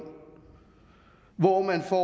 hvor man for